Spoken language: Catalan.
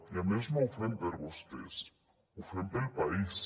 i a més no ho fem per vostès ho fem pel país